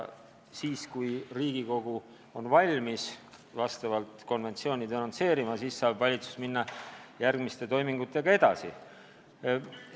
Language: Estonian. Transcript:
Kui Riigikogu on valmis selle konventsiooni denonsseerima, siis saab valitsus asjaomaste toimingutega edasi minna.